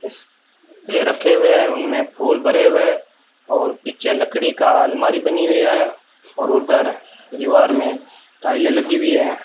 इस रखे हुए हैं उनमें फूल भरे हुए है और पीछे लकड़ी का अलमारी बनी हुई है और उधर दीवार में टाइलें लगी हुई है।